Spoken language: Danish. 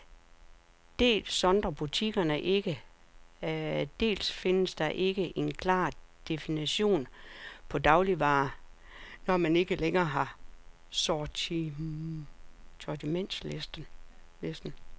Dels sondrer butikkerne ikke, dels findes der ikke en klar definition på dagligvarer, når man ikke længere har sortimentslisten.